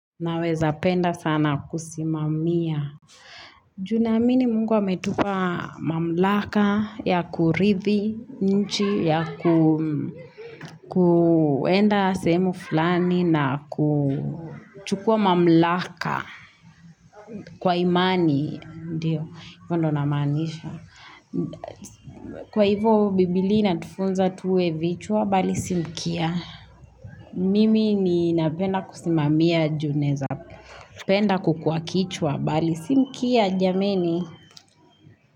Naweza penda sana kusimamia. Junaamini mungu ametupa mamlaka ya kurithi, nchi, ya kwenda sehemu fulani na kuchukua mamlaka kwa imani. Ndiyo, hivyo ndio namaanisha. Kwa hivyo, bibilia inatufunza tuwe vichwa, bali si mkia. Mimi ninapenda kusimamia juninaweza. Penda kukuwa kichwa bali si mkia jameni.